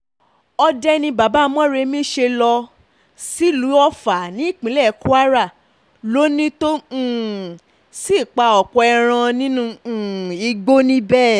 òde ni bàbá moremi ṣe lọ sílùú ọfà ní ìpínlẹ̀ kwara lónìí tó um sì pa ọ̀pọ̀ ẹran nínú um igbó níbẹ̀